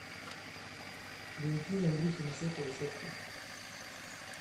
закинь андрюхе на сотовый сотку